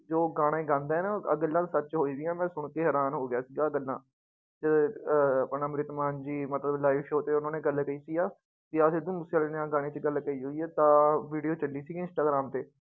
ਜੋ ਗਾਣੇ ਗਾਉਂਦਾ ਹੈ ਨਾ ਆਹ ਗੱਲਾਂ ਸੱਚ ਹੋਈਆਂ ਮੈਂ ਸੁਣਕੇ ਹੈਰਾਨ ਹੋ ਗਿਆ ਸੀਗਾ ਗੱਲਾਂ ਤੇ ਅਹ ਆਪਣਾ ਅੰਮ੍ਰਿਤਮਾਨ ਜੀ ਮਤਲਬ live show ਤੇ ਉਹਨਾਂ ਨੇ ਗੱਲ ਕੀਤੀ ਆ ਵੀ ਆਹ ਸਿੱਧੂ ਮੂਸੇਵਾਲੇ ਨੇ ਆਹ ਗਾਣੇ ਚ ਗੱਲ ਕਹੀ ਹੋਈ ਆ ਤਾਂ video ਚੱਲੀ ਸੀਗੀ ਇੰਸਟਾਗ੍ਰਾਮ ਤੇ।